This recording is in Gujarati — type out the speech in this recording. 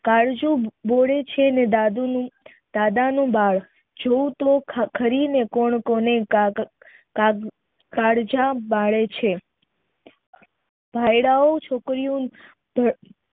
કાળજું બળે છે ન દાદા નું બાળ જોવ તો રી ને કોણ કોને કાળજા બાળે છે ભાયડા ઓ